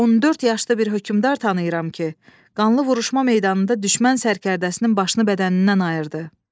14 yaşlı bir hökmdar tanıyıram ki, qanlı vuruşma meydanında düşmən sərkərdəsinin başını bədənindən ayırdı.